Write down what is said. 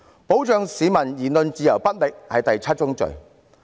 保障市民言論自由不力，是第七宗罪。